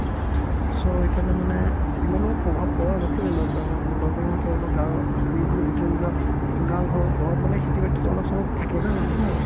so সেইকাৰণে মানে ইমানো প্ৰভাৱ পৰা নাছিলে lockdown ত lockdown ৰ সেই সময়ত গাঁৱৰ বুলি ভিতৰি ভিতৰুৱা গাঁৱৰ ঘৰত ঘৰত মানে খেতি-বাতিতো অলপ-চলপ থাকে না মানুহৰ